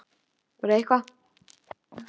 Í leit að einhverju sem var, en er löngu horfið.